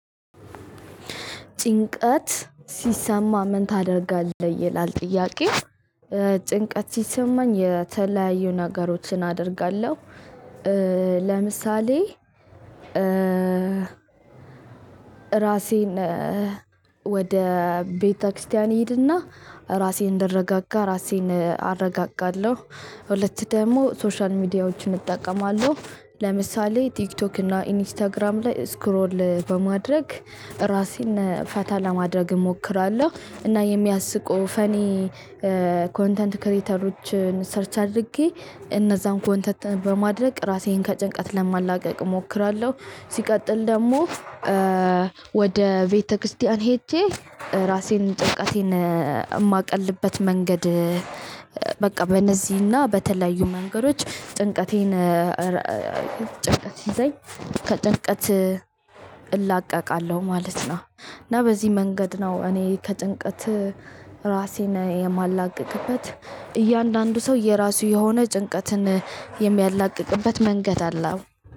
ጭንቀት ሲሰማ ምን ታደርጋለህ ይላል ጥያቄው? ጭንቀት ሲሰማኝ የተለያዩ ነገሮችን አደርጋለሁ። ለምሳሌ ራሴን ወደ ቤተክርስቲያን እሄድና ራሴን እንድረጋጋ ራሴን አረጋጋለሁ። ሁለት ደግሞ ሶሻል ሚዲያዎችን እጠቀማለሁ ለምሳሌ ቲክቶክ እና ኢንስታግራም ላይ ስክሮል በማድረግ ራሴን ፈታ ለማድረግ እሞክራለሁ። እና የሚያስቁ ፈኒ ኮንተንት ክሬተሮችን ሰርች አድርጌ እነዛን ኮንተንት በማድረግ ራሴን ከጭንቀት ለማላቀቅ እሞክራለሁ። ሲቀጥል ደግሞ ወደ ቤተቤተክርስቲያን ሂጄ እራሴን ጭንቀት የማስወግድበት መንገድ። በቃ በእነዚህና በተለያዩ መንገዶች ጭንቀቴን ጭንቀቴን ጭንቀት ሲይዘኝ ከጭንቀት እላቀቃለሁ ማለት ነው። እና በዚህ መንገድ ነው እኔ ከጭንቀት ራሴን የማላቅቅበት። እያንዳንዱ ሰው የራሱ የሆነ ጭንቀትን የሚያላቅቅበት መንገድ አለው።